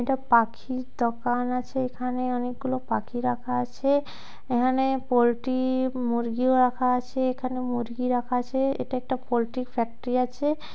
এটা পাখির দোকান আছে। এখানে অনেকগুলো পাখি রাখা আছে। এখানে পোল্ট্রি মুরগিও রাখা আছে। এখানে মুরগি রাখা আছে। এটা পোল্ট্রি র ফ্যাক্টরি আছে।